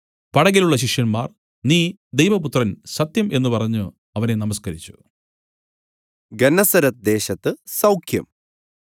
പടകിലുള്ള ശിഷ്യന്മാർ നീ ദൈവപുത്രൻ സത്യം എന്നു പറഞ്ഞു അവനെ നമസ്കരിച്ചു